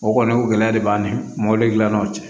O kɔni o gɛlɛya de b'an ni mɔbili dilann'o cɛ